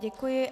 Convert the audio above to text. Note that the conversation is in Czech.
Děkuji.